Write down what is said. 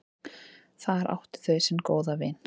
Þar áttu þau sinn góða vin.